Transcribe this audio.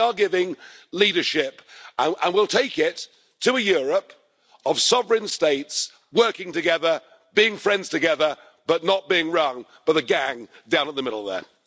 We are giving leadership and will take it to a Europe of sovereign states working together, being friends together, but not being run by the gang down at the middle there.